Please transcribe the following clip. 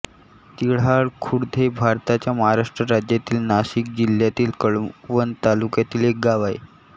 तिऱ्हाळखुर्द हे भारताच्या महाराष्ट्र राज्यातील नाशिक जिल्ह्यातील कळवण तालुक्यातील एक गाव आहे